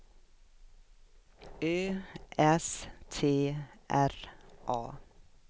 Ö S T R A